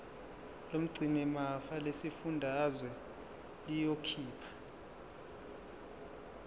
lomgcinimafa lesifundazwe liyokhipha